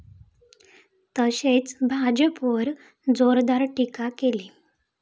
तसेच भाजपवर जोरदार टीका केली.